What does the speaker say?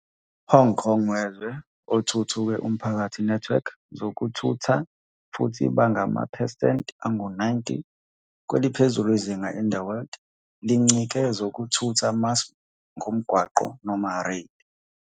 Hong Kong wezwe othuthuke umphakathi network zokuthutha futhi bangamaphesenti angu-90, kweliphezulu izinga in the world lincike zokuthutha mass ngomgwaqo, noma rail.